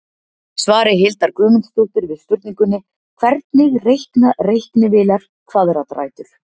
Svari Hildar Guðmundsdóttur við spurningunni Hvernig reikna reiknivélar kvaðratrætur?